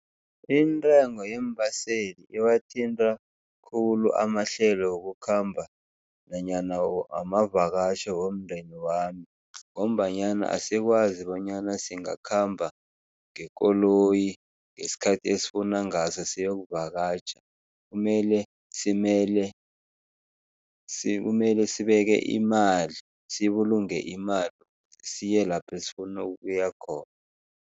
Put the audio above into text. Intengo yeembaseli iwathinta khulu amahlelo wokukhamba nanyana wamavakatjho womndeni wami ngombanyana asikwazi bonyana singakhamba ngekoloyi ngesikhathi esifuna ngaso siyokuvakatjha, kumele simele kumele sibeke imali, sibulunge imali, siye lapho esifuna ukuya khona.